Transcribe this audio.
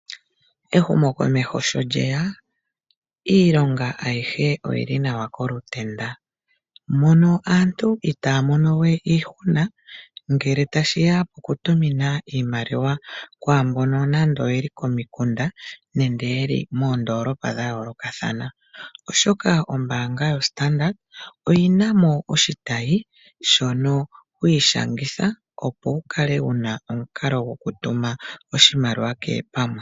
Ehumokomeho sho lyeya, iilonga ayihe oyili nawa kolutenda, mono aantu itaa ya mono we iihuna ngele tashi ya pokutumina iimaliwa kwaambono nando oye li komikunda nenge yeli moondoolopa dha yoolokathana, oshoka ombaanga yoStandard oyina mo oshitayi, shono hwi ishangitha opo wu kale wu na omukalo goku tuma oshimaliwa kehe pamwe.